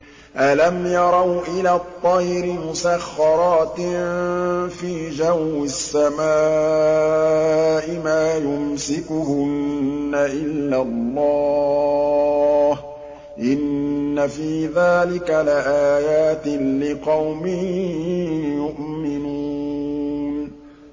أَلَمْ يَرَوْا إِلَى الطَّيْرِ مُسَخَّرَاتٍ فِي جَوِّ السَّمَاءِ مَا يُمْسِكُهُنَّ إِلَّا اللَّهُ ۗ إِنَّ فِي ذَٰلِكَ لَآيَاتٍ لِّقَوْمٍ يُؤْمِنُونَ